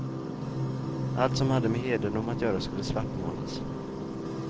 Allt som hade med hedendom att göra skulle svartmålas.